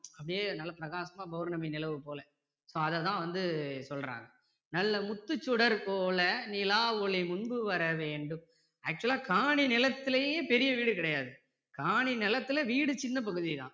அப்படியே நல்லா பிராகாசமா பௌர்ணமி நிலவு போல so அதை தான் வந்து சொல்றாங்க நல்ல முத்துச் சுடர்போல நிலாவொளி முன்பு வர வேண்டும். actual லா காணி நிலத்திலயே பெரிய வீடு கிடையாது. காணி நிலத்துல வீடு சின்ன பகுதி தான்